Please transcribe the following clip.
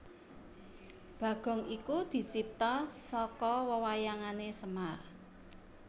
Bagong iku dicipta saka wewayangané Semar